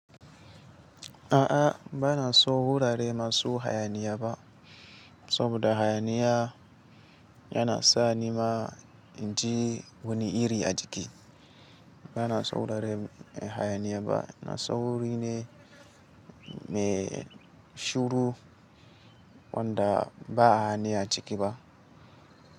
A'a, ba na so wurare masu hayaniya ba saboda hayaniya yana sa ni ma inji wani iri a jiki. Ba na so wurare hayaniya ba, na so wuri ne mai shuru wanda ba hayaniya ciki ba.